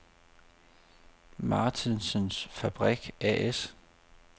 Martensens Fabrik A/S